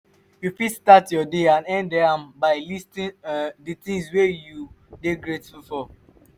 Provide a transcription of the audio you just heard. you fit start your day and end am by listing um di things wey you dey grateful for